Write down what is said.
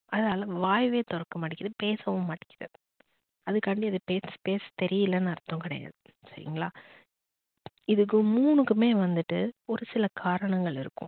அதால வாயவே தொறக்க மாட்டேங்குது பேசவும் மாட்டேங்குது அதுக்காண்டி அதுக்கு பேச தெரியலன்னு அர்த்தம் கிடையாது சரிங்களா. இதுக்கு மூனுக்குமே வந்துட்டு ஒரு சில காரணங்கள் இருக்கும்